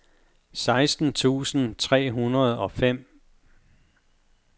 seksten tusind tre hundrede og fem